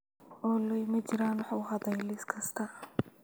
olly ma jiraan wax u hadhay liis kasta